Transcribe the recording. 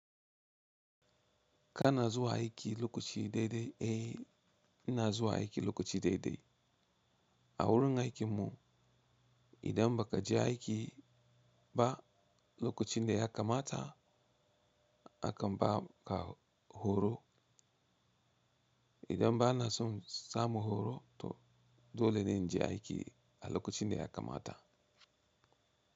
Kana zuwa aiki lokaci daidai, eh ina zuwa aiki lokaci daidai. A wurin aikin mu idan ba ka je aiki ba lokacin da ya kamata, akan ba ka horo. Idan ba na son samu horo, to dole ne in je aiki a lokacin da ya kamata.